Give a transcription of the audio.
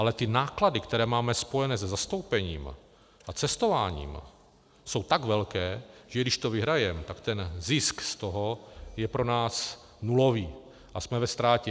Ale ty náklady, které máme spojené se zastoupením a cestováním, jsou tak velké, že když to vyhrajeme, tak ten zisk z toho je pro nás nulový a jsme ve ztrátě.